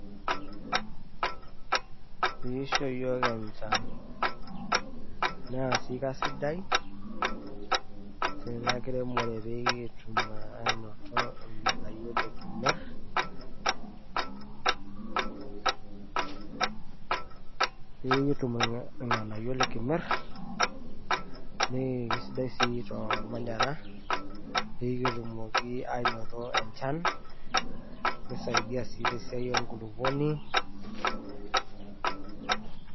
Pee isho iyiok enchan naa sii kisadai ena kiremore pee kitum aanoto ilng`anayio likimirr. Pee kitum ilng`anayio likimirr naa kisidai sii tolmanyara pee kitumoki aanoto enchan nisaidia sii te siai e nkulukuoni.